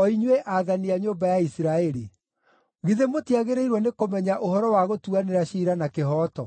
o inyuĩ aathani a nyũmba ya Isiraeli. Githĩ mũtiagĩrĩirwo nĩkũmenya ũhoro wa gũtuanĩra ciira na kĩhooto.